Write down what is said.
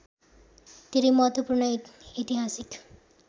धेरै महत्त्वपूर्ण ऐतिहासिक